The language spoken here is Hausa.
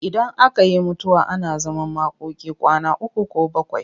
Idan aka yi mutuwa ana zaman makoki kwana uku ko bakwai.